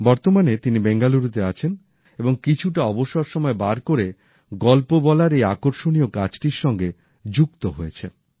বর্তমানে তিনি বেঙ্গালুরুতে আছেন এবং কিছুটা অবসর সময় বার করে গল্প বলার এই আকর্ষণীয় কাজটির সঙ্গে যুক্ত হয়েছেন